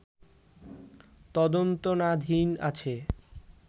তদন্তনাধীন আছে